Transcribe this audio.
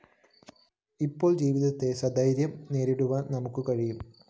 അപ്പോള്‍ ജീവിതത്തെ സധൈര്യം നേരിടുവാന്‍ നമുക്കു കഴിയും